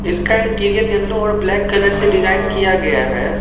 इसका interior yellow और black colour से डिजाइन किया गया है।